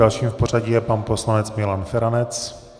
Dalším v pořadí je pan poslanec Milan Feranec.